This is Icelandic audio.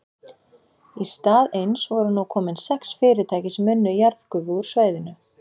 Í stað eins voru nú komin sex fyrirtæki sem unnu jarðgufu úr svæðinu.